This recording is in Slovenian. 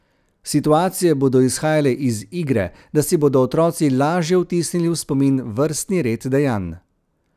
Situacije bodo izhajale iz igre, da si bodo otroci lažje vtisnili v spomin vrstni red dejanj.